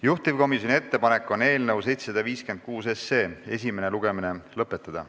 Juhtivkomisjoni ettepanek on eelnõu 756 esimene lugemine lõpetada.